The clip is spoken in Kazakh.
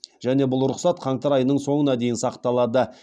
және бұл рұқсат қаңтар айының соңына дейін сақталады